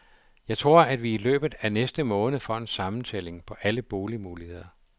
Jeg tror, at vi i løbet af næste måned får en sammentælling på alle boligmuligheder.